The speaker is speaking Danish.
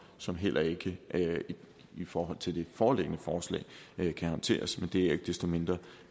som heller ikke i forhold til det foreliggende forslag kan håndteres men det er jo ikke desto mindre